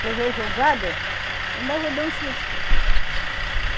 Se eu ver jogado, ainda vou dar um chute.